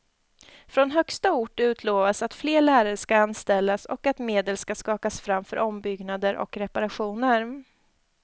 Från högsta ort utlovas att fler lärare ska anställas och att medel ska skakas fram för ombyggnader och reparationer.